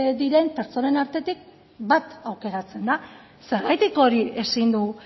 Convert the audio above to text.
diren pertsonen artetik bat aukeratzen da zergatik hori ezin du